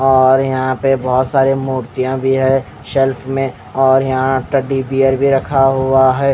और यहाँ पे बहुतसारे मुर्तिया भी है शेल्फ में और यहाँ टेडी बीअर भी रखा हुआ है--